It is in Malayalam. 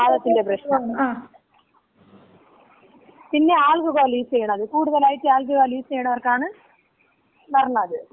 ഈ വാതത്തിന്‍റെ പ്രശ്നം. പിന്ന ഈ ആൽക്കഹോള് യൂസ് ചെയ്യണത്. കൂടുതലായിട്ട് ആൽക്കഹോള് യൂസ് ചെയ്യണവർക്കാണ് വരണത്.